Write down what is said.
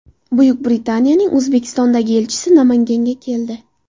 Buyuk Britaniyaning O‘zbekistondagi elchisi Namanganga keldi.